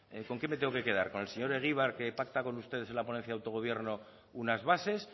con qué me tengo que quedar con el señor egibar que pacta con ustedes en la ponencia de autogobierno unas bases